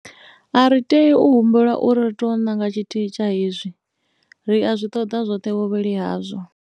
A ri tei u humbelwa uri ri tou nanga tshithihi tsha izwi. Ri a zwi ṱoḓa zwoṱhe vhuvhili hazwo.